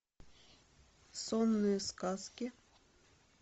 сонные сказки